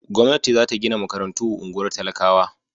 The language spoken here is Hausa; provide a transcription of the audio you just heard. Gwamnati za ta gina makarantu a unguwar talakawa.